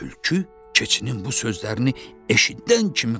Tülkü keçinin bu sözlərini eşidən kimi qaçdı.